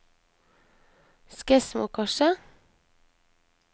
Skedsmokorset